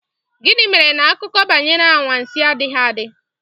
Gịnị mere na akụkọ banyere anwansi adịghị adị?